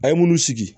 A ye munnu sigi